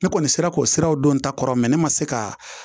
Ne kɔni sera k'o siraw don n ta kɔrɔ ne ma se ka